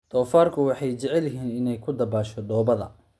Doofaarku waxay jecel yihiin inay ku dabaasho dhoobada.